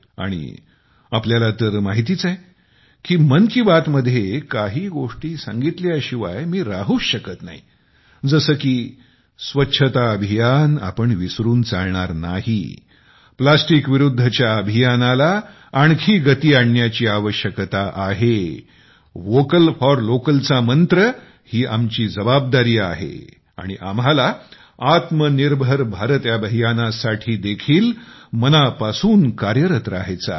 आणि तुम्हाला तर माहितीच आहे की मन की बात मध्ये काही गोष्टी सांगितल्याशिवाय मी राहूच शकत नाही जसे की स्वच्छता अभियान आपण विसरून चालणार नाही एकाच वेळी वापरल्या जाणाऱ्या प्लास्टिकच्या विरुद्धच्या अभियानाला आणखी गती आणण्याची आवश्यकता आहे वोकल फोर लोकलचा मंत्र ही आमची जबाबदारी आहे आणि आम्हाला आत्मनिर्भर भारत अभियानासाठी देखील मनापासून कार्यरत राहायचे आहे